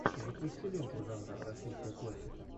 запусти ленту жанра российская классика